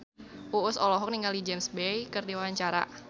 Uus olohok ningali James Bay keur diwawancara